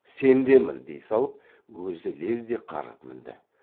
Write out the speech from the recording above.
сен де мін дей салып өзі лезде қарғып мінді